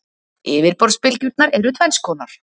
Yfirborðsbylgjurnar eru tvenns konar.